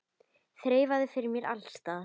Þreifað fyrir mér alls staðar.